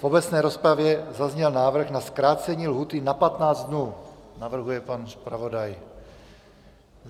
V obecné rozpravě zazněl návrh na zkrácení lhůty na 15 dnů, navrhuje pan zpravodaj.